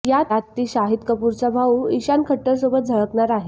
यात ती शाहीद कपूरचा भाऊ इशान खट्टरसोबत झळकणार आहे